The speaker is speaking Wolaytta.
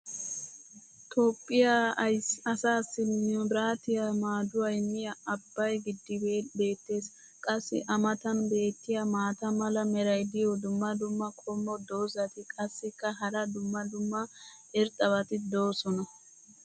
Toophphiya asaassi mabiraatiya maaduwa immiya abbay giddibee beetees. qassi a matan beetiya maata mala meray diyo dumma dumma qommo dozzati qassikka hara dumma dumma irxxabati doosona.